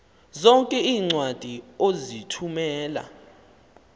zonke iincwadi ozithumela